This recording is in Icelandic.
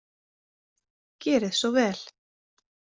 Gerið svo vel!